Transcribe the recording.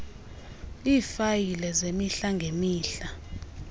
iifayile zemihla ngemihla